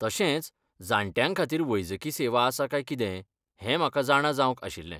तशेंच, जाण्ट्यां खातीर वैजकी सेवा आसा काय कितें हें म्हाका जाणा जावंक आशिल्लें?